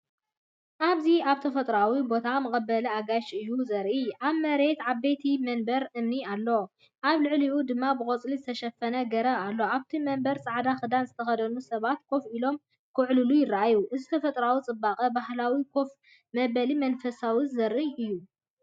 ኣብዚ ኣብ ተፈጥሮኣዊ ቦታ መቐበሊ ኣጋይሽ እዩ ዘርኢ። ኣብ መሬት ዓበይቲ መንበር እምኒ ኣሎ፣ ኣብ ልዕሊኡ ድማ ብቆጽሊ ዝተሸፈነ ገረብ ኣሎ። ኣብቲ መንበር፡ጻዕዳ ክዳን ዝተኸድኑ ሰባት ኮፍ ኢሎም ክዕልሉ ይረኣዩ። እዚ ተፈጥሮኣዊ ጽባቐ ባህላዊ ኮፍ መበሊን መንፈሳዊ ዘርኢ እዩ።